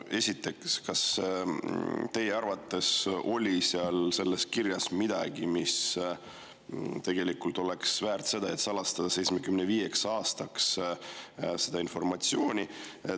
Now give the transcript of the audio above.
Esiteks, kas teie arvates oli selles kirjas midagi, mis tegelikult oleks väärt seda, et salastada see informatsioon 75 aastaks?